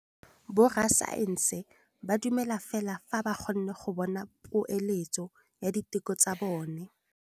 Borra saense ba dumela fela fa ba kgonne go bona poeletsô ya diteko tsa bone.